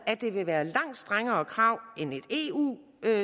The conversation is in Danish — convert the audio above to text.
at det vil være langt strengere krav end et eu